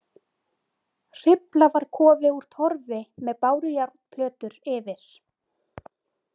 Hrifla var kofi úr torfi með bárujárnplötur yfir.